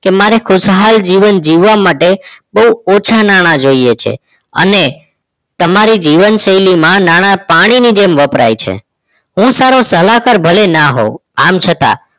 કે મારે ખુશાલ જીવન જીવવા માટે બહુ ઓછા નાણાં જોઈએ છે અને તમારા જીવનશૈલીમાં નાણા પાણીની જેમ વપરાય છે હું સારો સલાહકાર ભલે ન હોવ આમ છતાં